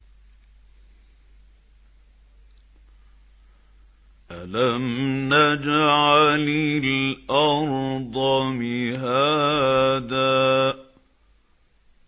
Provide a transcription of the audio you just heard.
أَلَمْ نَجْعَلِ الْأَرْضَ مِهَادًا